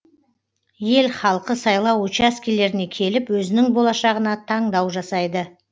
ел халқы сайлау учаскелеріне келіп өзінің болашағына таңдау жасайды